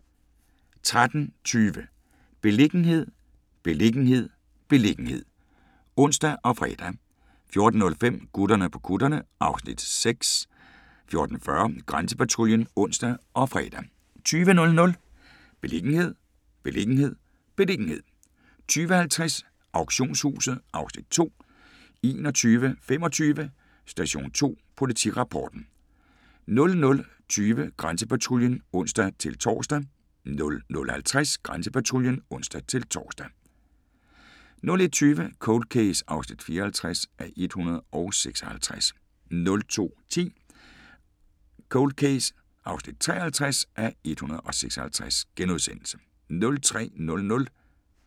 13:20: Beliggenhed, beliggenhed, beliggenhed (ons og fre) 14:05: Gutterne på kutterne (Afs. 6) 14:40: Grænsepatruljen (ons og fre) 20:00: Beliggenhed, beliggenhed, beliggenhed 20:50: Auktionshuset (Afs. 2) 21:25: Station 2: Politirapporten 00:20: Grænsepatruljen (ons-tor) 00:50: Grænsepatruljen (ons-tor) 01:20: Cold Case (54:156) 02:10: Cold Case (53:156)*